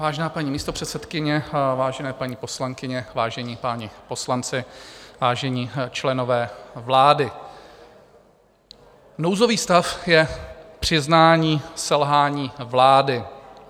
Vážená paní místopředsedkyně, vážené paní poslankyně, vážení páni poslanci, vážení členové vlády, nouzový stav je přiznání selhání vlády.